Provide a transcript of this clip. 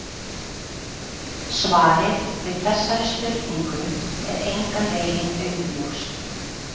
Svarið við þessari spurningu er engan veginn augljóst.